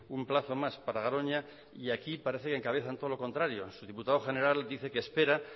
un plazo más para garoña y aquí parece que encabezan todo lo contrario su diputado general dice que espera